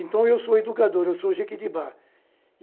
Então, eu sou educador, eu sou jiquitibá.